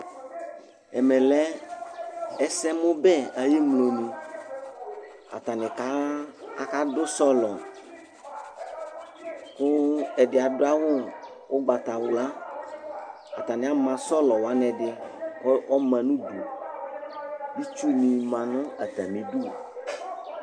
Ɛmɛ lɛ ɛsɛmubɛ ayi ɛmlonì ,atani ká aka dù sɔ̃lɔ, ku ɛdi adu awù ugbatawla, atani ama sɔ̃lɔ wani ɛdi ku ɔma nu udu, itsuni ma nu atami idú